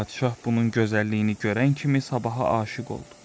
Padşah bunun gözəlliyini görən kimi sabaha aşiq oldu.